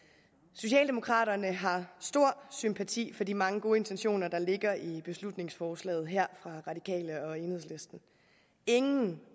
socialdemokraterne har stor sympati for de mange gode intentioner der ligger i beslutningsforslaget her fra de radikale og enhedslisten ingen